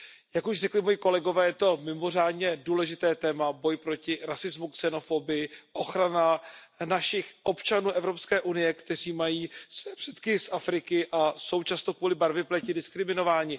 Jak už řekli moji kolegové, je to mimořádně důležité téma boj proti rasismu, xenofobii, ochrana našich občanů Evropské unie, kteří mají své předky z Afriky a jsou často kvůli barvě pleti diskriminováni.